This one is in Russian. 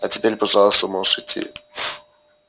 а теперь пожалуйста можешь идти